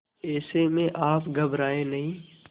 ऐसे में आप घबराएं नहीं